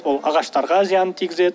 ол ағаштарға зиянын тигізеді